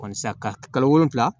ka kalo wolonwula